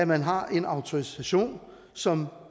man har en autorisation som